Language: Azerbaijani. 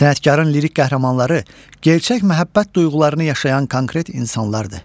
Sənətkarın lirik qəhrəmanları gerçək məhəbbət duyğularını yaşayan konkret insanlardır.